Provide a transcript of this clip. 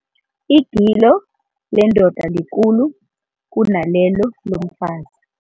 Igilo lendoda likhulu kunalelo lomfazi.